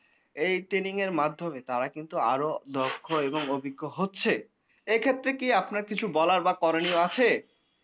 এই training এর মাধ্যমে তারা কিন্তু আরো দক্ষ এবং অভিজ্ঞ হচ্ছে। এক্ষেত্রে কি আপনার বলার বা করনীয় কিছু আছে?